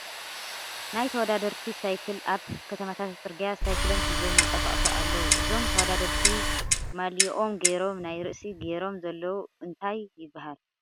ናይ ተወዳደርቲ ሳይክል ኣብ ከተማታት ፅርግያ ሳይክሎም ሒዞም ይንቀሳቀሱ ኣለዉ እዞም ተወዳደርቲ ማልይኦም ጌሮም ናይ ርእሲ ጊሮሞ ዘለዉ እንታይ ይበሃል ?